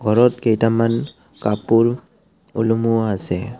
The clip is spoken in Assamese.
ঘৰত কেইটামান কাপোৰ ওলমোৱা আছে।